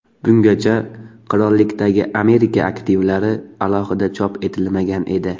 Bungacha qirollikdagi Amerika aktivlari alohida chop etilmagan edi.